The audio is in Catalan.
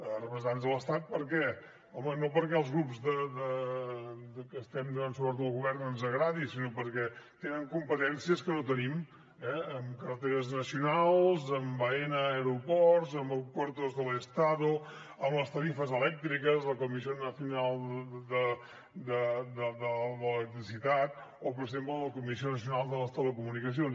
representants de l’estat per què home no perquè als grups que estem donant suport al govern ens agradi sinó perquè tenen competències que no tenim eh en carreteres nacionals en aena aeroports en puertos del estado en les tarifes elèctriques la comissió nacional d’electricitat o per exemple la comissió nacional de les telecomunicacions